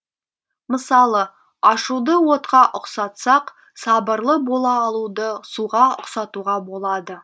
мысалы ашуды отқа ұқсатсақ сабырлы бола алуды суға ұқсатуға болады